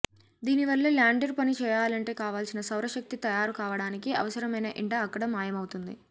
దీనివల్ల ల్యాండర్ పని చేయాలంటే కావాల్సిన సౌరశక్తి తయారు కావడానికి అవసరమైన ఎండ అక్కడ మాయమవుతుంది